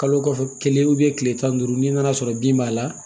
Kalo kɔfɛ kelen kile tan ni duuru n'i nana sɔrɔ bin b'a la